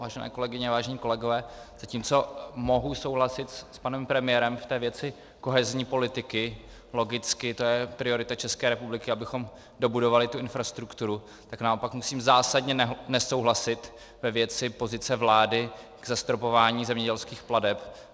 Vážené kolegyně, vážení kolegové, zatímco mohu souhlasit s panem premiérem v té věci kohezní politiky, logicky, to je priorita České republiky, abychom dobudovali tu infrastrukturu, tak naopak musím zásadně nesouhlasit ve věci pozice vlády k zastropování zemědělských plateb.